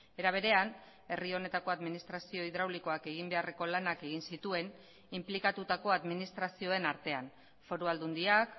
era berean herri honetako administrazio hidraulikoak egin beharreko lanak egin zituen inplikatutako administrazioen artean foru aldundiak